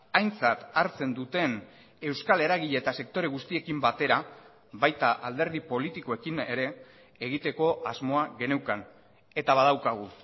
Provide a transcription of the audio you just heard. aintzat hartzen duten euskal eragile eta sektore guztiekin batera baita alderdi politikoekin ere egiteko asmoa geneukan eta badaukagu